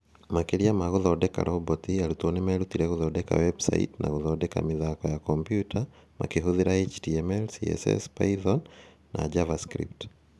Makĩria ma gũthondeka roboti, arutwo nĩ meerutire gũthondeka websaiti na gũthondeka mĩthako ya kompiuta makĩhũthĩra HTML, CSS, Python nini, na JavaScript.